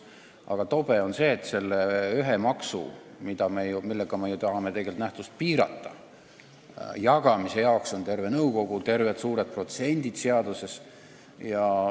Aga tobe on see, et selle ühe maksu, millega me ju tahame tegelikult nähtust piirata, jagamise jaoks on terve nõukogu ja seaduses terved suured protsendid.